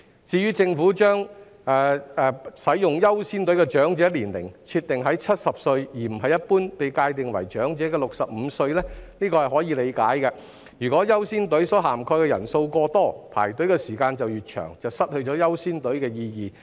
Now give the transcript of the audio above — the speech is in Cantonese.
至於政府把使用"優先隊伍"的長者年齡設定在70歲，而不是一般被界定為長者的65歲，這是可以理解的，若"優先隊伍"所涵蓋的人數過多，排隊的時間就越長，失去"優先隊伍"的意義。